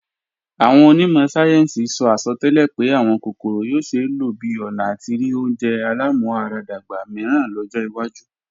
Àwọn onímọ̀ sáyẹ́ǹsì sọ àsọtẹ́lẹ̀ pé àwọn kòkòrò yóò ṣeé lò bi ọ̀nà àti rí oúnjẹ alámúaradàgbà míràn lọ́jọ́ wájú